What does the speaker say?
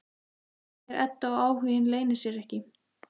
segir Edda og áhuginn leynir sér ekki.